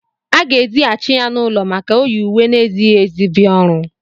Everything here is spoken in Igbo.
A ga-èzigháchị ya n'ụlọ maka o yị ùwé na-ezịghị ezi bia ọrụ